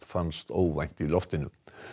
fannst óvænt í loftinu